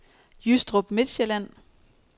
Jystrup Midtsjælland